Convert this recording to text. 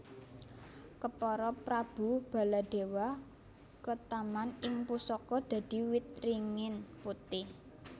Kepara Prabu Baladewa ketaman ing pusaka dadi wit ringin putih